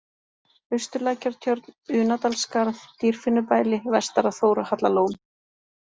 Austurlækjartjörn, Unadalsskarð, Dýrfinnubæli, Vestara-Þórhallalón